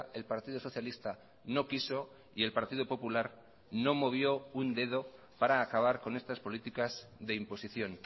el partido socialista no quiso y el partido popular no movió un dedo para acabar con estas políticas de imposición